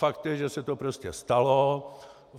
Fakt je, že se to prostě stalo.